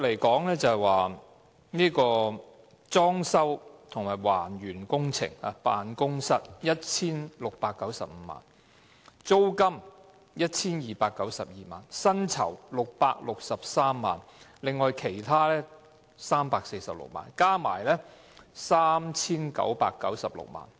她最初表示裝修及還原辦公室工程須 1,695 萬元，租金須 1,292 萬元，薪酬663萬元，而其他開支為346萬元，合共 3,996 萬元。